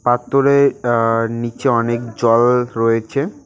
পাথরের আ নীচে অনেক জল রয়েচে।